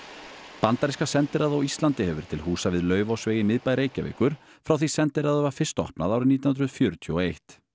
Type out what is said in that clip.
bandaríska sendiráðið á Íslandi hefur verið til húsa við Laufásveg í miðbæ Reykjavíkur frá því sendiráðið var fyrst opnað árið nítján hundruð fjörutíu og eitt